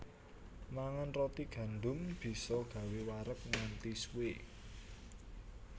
Mangan roti gandum bisa gawé wareg nganti suwé